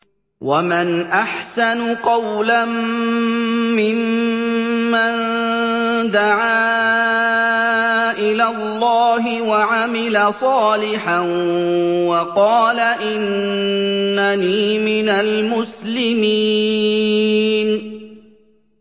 وَمَنْ أَحْسَنُ قَوْلًا مِّمَّن دَعَا إِلَى اللَّهِ وَعَمِلَ صَالِحًا وَقَالَ إِنَّنِي مِنَ الْمُسْلِمِينَ